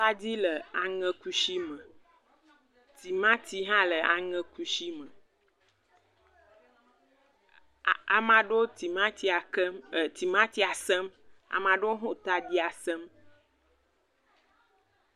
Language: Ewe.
Atadi le aŋɛ kusi me. Timati hã le aŋɛ kusi me. Ah ame aɖewo le timati kem, sem. Ame aɖewo hã le taɖi sem.